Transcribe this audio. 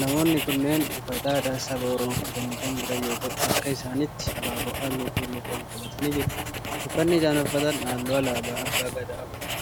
Namoonni kunneen uffata aadaa saba oromoo uffatanii kan jira yoo ta'u harka isaanitti abaaboo halluu keelloo qabu qabatani jiru. Uffanni isaan uffatan halluu alaabaa abbaa Gadaa of irraa qaba.